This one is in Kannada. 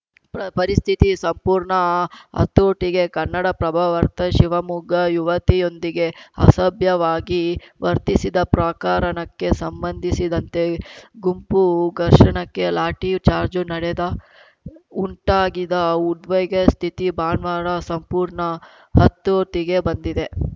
ಪ್ರ ಪರಿಸ್ಥಿತಿ ಸಂಪೂರ್ಣ ಹತೋಟಿಗೆ ಕನ್ನಡಪ್ರಭವಾರ್ತೆ ಶಿವಮೊಗ್ಗ ಯುವತಿಯೊಂದಿಗೆ ಅಸಭ್ಯವಾಗಿ ವರ್ತಿಸಿದ್ದ ಪ್ರಕರಣಕ್ಕೆ ಸಂಬಂಧಿಸಿದಂತೆ ಗುಂಪು ಘರ್ಷಣಕ್ಕೆ ಲಾಠಿ ಚಾರ್ಜ್ ನಡೆದ ಉಂಟಾಗಿದ್ದ ಉದ್ವಿಗ ಸ್ಥಿತಿ ಭಾನುವಾರ ಸಂಪೂರ್ಣ ಹತೋಟಿಗೆ ಬಂದಿದೆ